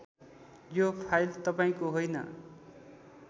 यो फाइल तपाईँको होइन